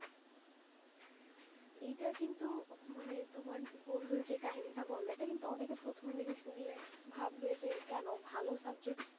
এই টা কিন্তু মানে তোমার বন্ধুর যে কাহিনীটা বললে, এটা কিন্তু অনেকে প্রথম দিকে শুনলে ভাববে যে কেন, ভালো subject,